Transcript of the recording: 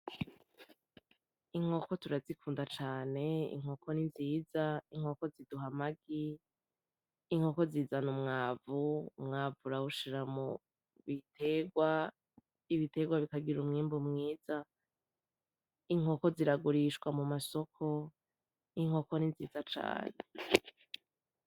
Inkoko turazikunda cane, Inkoko ni nziza, Inkoko ziduha amagi , Inkoko zizana umwavu, Umwavu urawushira mubiterwa, Ibiterwa bikagira umwimbu mwiza, Inkoko ziragurishwa mumasoko, inkoko n'inziza cane